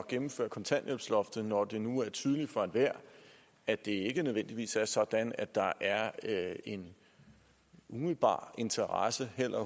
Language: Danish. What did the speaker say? gennemføre kontanthjælpsloftet når det nu er tydeligt for enhver at det ikke nødvendigvis er sådan at der er en umiddelbar interesse heller